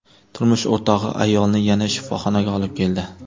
Turmush o‘rtog‘i ayolni yana shifoxonaga olib keldi.